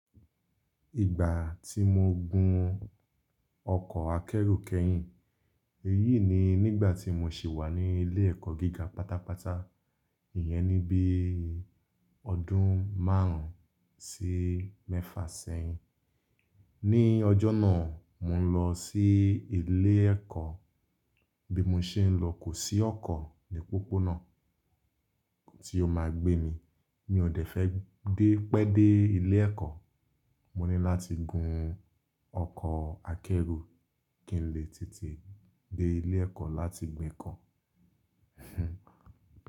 Ìgbà tí mo gun ọkọ̀ akẹ́rù kẹ́yìn, èyí ni nígbà tí mo ṣì wà ní ilé ẹ̀kọ́ gíga pátápátá, ìyẹn níbí ọdún márùn-ún sí mẹ́fà sẹ́yìn. Ní ọjọ́ náà, mò ń lọ sí ilé ẹ̀kọ́, bí mo ṣe ń lọ kò sí ọkọ̀ ní pópónà tí ó máa gbé mi. Mi ò dẹ́fẹ́ dé pẹ́ dé ilé ẹ̀kọ́, mo ní láti gun ọkọ̀ akẹ́rù kí n lè tètè dé ilé ẹ̀kọ́ láti gbá ẹ̀kọ́.